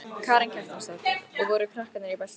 Karen Kjartansdóttir: Og voru krakkarnir í beltum?